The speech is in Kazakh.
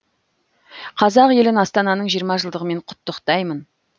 қазақ елін астананың жиырма жылдығымен құттықтаймын